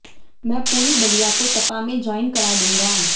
मैं पूरी बलिया को सपा में जॉइन करा दूंगा